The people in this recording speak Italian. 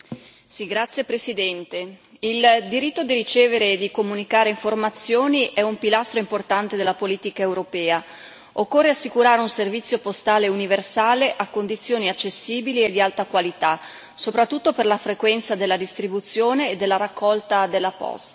Signora Presidente, onorevoli colleghi, il diritto di ricevere e di comunicare informazioni è un pilastro importante della politica europea. Occorre assicurare un servizio postale universale a condizioni accessibili e di alta qualità, soprattutto per la frequenza della distribuzione e della raccolta della posta.